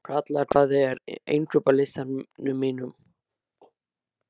Kalla, hvað er á innkaupalistanum mínum?